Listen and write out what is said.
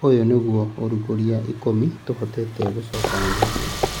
Ũyũ nĩguo ũrugũria ikũmi tũhotete gũgũcokanĩrĩria.